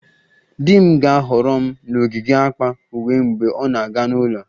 Di m ga-ahọrọ m n'ogige akpa uwe mgbe ọ na-aga n'ụlọ